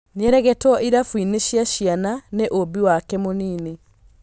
Nĩaregetwo irabu-inĩ cia ciana nĩ ũmbi wake mũnini